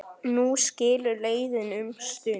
Nú skilur leiðir um stund.